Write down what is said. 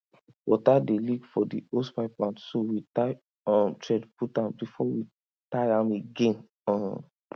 water dey leak from the hosepipe mouth so we tie um thread put am before we tight am again um